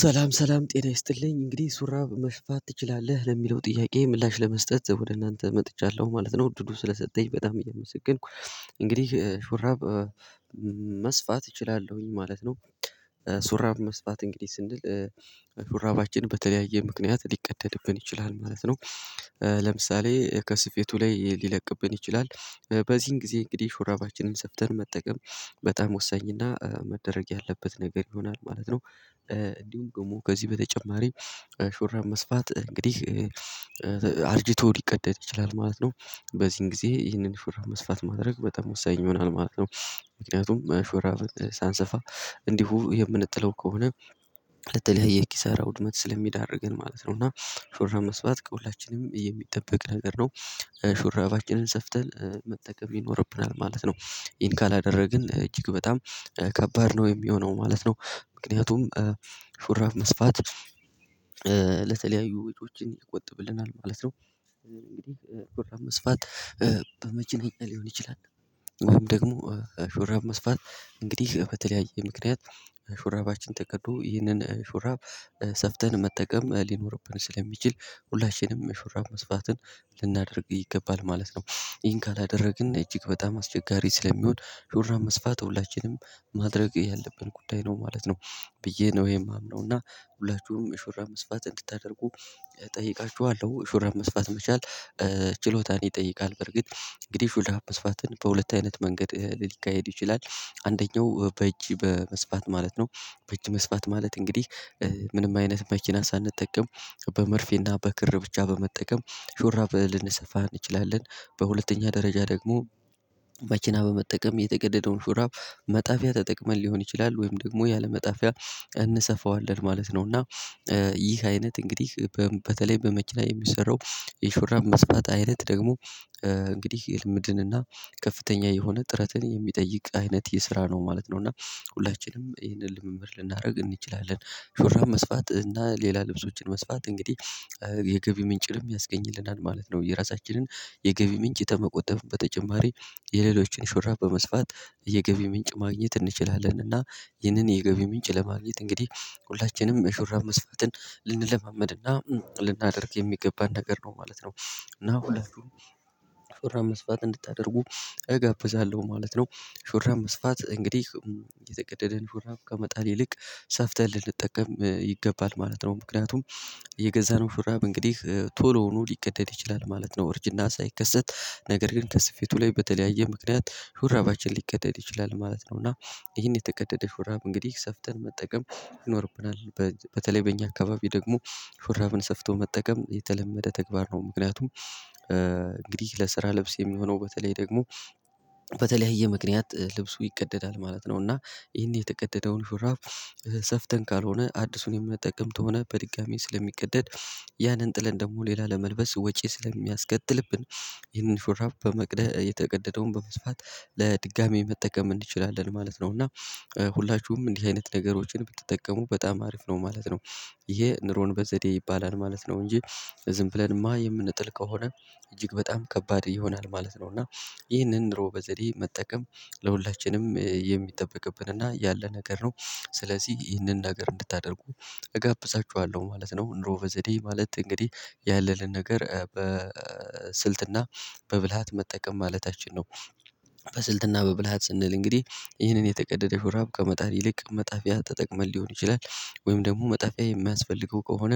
ሰላም ሰላም ጤና ይስጥልኝ እንግዲህ ሹራብ መስፋት ትችላለህ ለሚለው ጥያቄ ምላሽ ለመስጠት ወደ እናንተ መጥቻለሁ ማለት ነው። እድሉ ስለሰጠኝ በጣም እየመሰገንኩ እንግዲህ ሹራብ መስፋት እችላለሁኝ ማለት ነው። ሹራብ መስፋት እንግዲህ ስንል ሹራባችን በተለያየ ምክንያት ሊቀደድብን ይችላል ማለት ነው። ለምሳሌ ከስፌቱ ላይ ሊለቅብን ይችላል በዚህን ጊዜ እንግዲህ ሹራባችንን ሰፍተን መጠቀም በጣም ወሳኝና መደረግ ያለበት ነገር ይሆናል ማለት ነው። እንዲሁም ደግሞ ከዚህ በተጨማሪ ሹራብ መስፋት እንግዲህ። አርጂቶ ሊቀደድ ይችላል ማለት ነው። በዚህን ጊዜ ይህንን ሹራብ መስፋት ማድረግ በጣም ወሳኝ ይሆናል ማለት ነው። ምክንያቱም ሹራብ ሳንሰፋ እንዲሁ የምንጥለው ከሆነ ለተለያየ ኪሳራ ውድመት ስለሚዳርገን ማለት ነው። እና ሹራብ መስፋት ከሁላችንም የሚጠበቅ ነገር ነው። ሹራባችንን ሰፍተን መጠቀም ይኖርብናል ማለት ነው። ይሄን ካላደረግን እጅግ በጣም ከባድ ነው የሚሆነው ማለት ነው። ምክንያቱም ሹራብ መስፋት ለተለያዩ ወጮችን ይቆጥብልናል ማለት ነው። እንግዲህ ሹራብ መስፋት በመኪነኛ ሊሆን ይችላል ወይም ደግሞ ሹርባ መስፋት እንግዲህ በተለያየ ምክንያት ሹራባችን ተቀዶ ይህንን ሹራብ ሰፍተን መጠቀም ሊኖርብን ስለሚችል ሁላችንም የሹራብ መስፋትን ልናደርግ ይገባል ማለት ነው። ይህን ካላደረግን እጅግ በጣም አስቸጋሪ ስለሚሆን ሹራብ መስፋት ሁላችንም ማድረግ ያለብን ጉዳይ ነው ማለት ነው። ብዬ ነው የማምነው እና ሁላችሁም የሹራብ መስፋት እንድታደርጉ እጠይቃችኋለሁ የሹራብ መስፋት መቻል ችሎታን ይጠይቃል። በርግጥ እንግዲህ ሹራብ መስፋትን በሁለት አይነት መንገድ ሊካሄድ ይችላል አንደኛው በእጅ በመስፋት ማለት ነው። በእጅ መስፋት ማለት እንግዲህ ምንም አይነት መኪና ሳንጠቀም በመርፌና በክር ብቻ በመጠቀም ሹራብ ልንሰፋ እንችላለን። በሁለተኛ ደረጃ ደግሞ መኪና በመጠቀም የተቀደደውን ሹራብ መጣፊያ ተጠቅመን ሊሆን ይችላል ወይም ደግሞ ያለመጣፊያ እንሰፋዋለን ማለት ነው። እና ይህ አይነት እንግዲህ በም በተለይ በመኪና የሚሰራው የሹራብ መስፋት አይነት ደግሞ እንግዲህ የልምድንና ከፍተኛ የሆነ ጥረትን የሚጠይቅ አይነት የስራ ነው ማለት ነው። እና ሁላችንም ይህንን ልምምድ ልናደርግ እንችላለን ሹራብ መስፋት እና ሌላ ልብሶችን መስፋት እንግዲህ የገቢ ምንጭንም ያስገኝልናል ማለት ነው። የራሳችንን የገቢ ምንጭ ከመቆጠብ በተጨማሪ የሌሎችን ሹራብ በመስፋት የገቢ ምንጭ ማግኘት እንችላለን። እና ይህንን የገቢ ምንጭ ለማግኘት እንግዲህ ሁላችንም ሹራብ መስፋትን ልንለማመድና ልናደርግ የሚገባን ነገር ነው ማለት ነው። እና ሁለቱም ሹራብ መስፋት እንድታደርጉ እጋብዛለሁ ማለት ነው። ሹራብ መስፋት እንግዲህ የተቀደደን ሹራብ ከመጣል ይልቅ ሰፍተን ልንጠቀም ይገባል ማለት ነው። ምክንያቱም የገዛነው ሹራብ እንግዲህ ቶሎውኑ ሊቀደድ ይችላል ማለት ነው እርጅና ሳይከሰት ነገር ግን ከስፌቱ ላይ በተለያየ ምክንያት ሹራባችን ሊቀደድ ይችላል ማለት ነው። እና ይሄን የተቀደደ ሹራብ እንግዲህ ሰፍተን መጠቀም ይኖርብናል። በተለይ በእኛ አካባቢ ደግሞ ሹራብን ሰፍቶ መጠቀም የተለመደ ተግባር ነው ምክንያቱም እንግዲህ ለስራ ልብስ የሚሆነው በተለይ ደግሞ በተለያየ ምክንያት ልብሱ ይቀደዳል ማለት ነው። እና ይሄን የተቀደደውን ሹራብ ሰፍተን ካልሆነ አዲሱን የምንጠቀምት ከሆነ በድጋሜ ስለሚቀደድ ያንን ጥለን ደግሞ ሌላ ለመልበስ ወጪ ስለሚያስከትልብን ይህንን ሹራብ በመቅደ የተቀደደውን በመስፋት ለድጋሚ መጠቀም እንችላለን ማለት ነው። እና ሁላችሁም እንዲህ አይነት ነገሮችን ብትጠቀሙ በጣም አሪፍ ነው ማለት ነው። ይሄ ኑሮን በዘዴ ይባላል ማለት ነው። እንጂ ዝም ብለንማ የምንጥል ከሆነ እጅግ በጣም ከባድ ይሆናል ማለት ነው። እና ይህንን ኑሮ በዘዴ መጠቀም ለሁላችንም የሚጠበቅብን እና ያለ ነገር ነው። ስለዚህ ይህንን ነገር እንድታደርጉ እጋብዛችዋለሁ ማለት ነው። ኑሮ በዘዴ ማለት እንግዲህ ያለልን ነገር በስልትና በብልሃት መጠቀም ማለታችን ነው። በስልትና በብልሃት ስንል እንግዲህ ይህንን የተቀደደ ሹራብ ከመጣል ይልቅ መጣፊያ ተጠቅመን ሊሆን ይችላል ወይም ደግሞ መጣፊያ የማያስፈልገው ከሆነ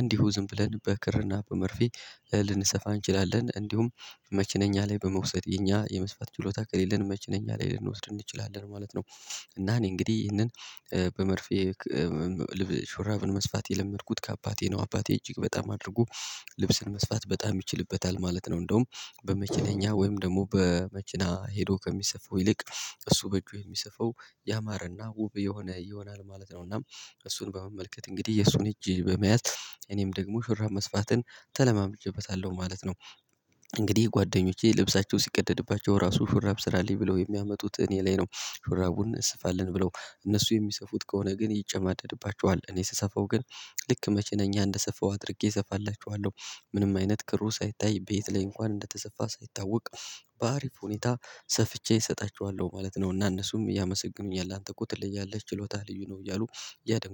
እንዲሁ ዝም ብለን በክርና በመርፌ ልንሰፋ እንችላለን እንዲሁም መኪነኛ ላይ በመውሰድ የኛ የመስፋት ችሎታ ከሌለን መኪነኛ ላይ ልንወስድ እንችላለን ማለት ነው። እና እኔ እንግዲህ ይህንን በመርፌ ልብስ ሹራብን መስፋት የለመድኩት ከአባቴ ነው። አባቴ እጅግ በጣም አድርጎ ልብስን መስፋት በጣም ይችልበታል ማለት ነው። እንደውም በመኪነኛ ወይም ደግሞ በመኪና ሄዶ ከሚሰፋው ይልቅ እሱ በእጁ የሚሰፋው ያማረና ውብ የሆነ ይሆናል ማለት ነው። እና እሱን በመመልከት እንግዲህ የሱን እጅ በመያዝ እኔም ደግሞ ሹራብ መስፋትን ተለማምጀበታለሁ ማለት ነው። እንግዲህ ጓደኞቼ ልብሳቸው ሲቀደድባቸው ራሱ ሹራብ ስራልኝ ብለው የሚያመጡት እኔ ላይ ነው። ሹራቡን ስፋለን ብለው እነሱ የሚሰፉት ከሆነ ግን ይጨማደድባቸዋል እኔ ስሰፋው ግን ልክ መኪ ነኛ እንደሰፋው አድርጌ እሰፋላቸዋለሁ። ምንም አይነት ክሩ ሳይታይ በየት ላይ እንኳን እንደተሰፋ ሳይታወቅ በአሪፍ ሁኔታ ሰፍቼ እሰጣቸዋለሁ ማለት ነው። እና እነሱም ያመሰግኑኛል አንተ እኮ ትለያለህ ችሎታህ ልዩ ነው እያሉ ያደንቁኛል